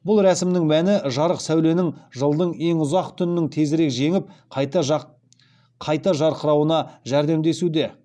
бұл рәсімнің мәні жарық сәуленің жылдың ең ұзақ түннің тезірек жеңіп қайта жарқырауына жәрдемдесуде